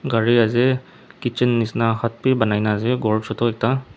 gari ase kitchen nishina hut bi banai na ase khor choto ekta.